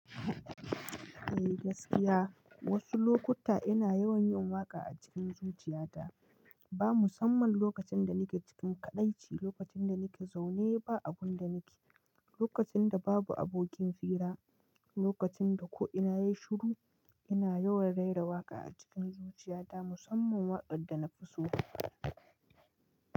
Eh gaskiya, wasu lokuta ina yawan yin waƙa a cikin zuciyata. Ba musamman lokacin da nake cikin kaɗaici, lokacin da nake zaune ba abun da nake, lokacin da babu abokin fira, lokacin da ko ina yayi shuru, ina yawan rera waƙa a cikin zuciyata musamman wakanda na fi so.